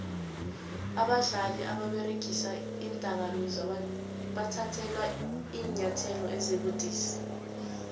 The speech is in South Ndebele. abadlali ababeregisa iindakamizwa bathathelwa iinyathelo ezibudisi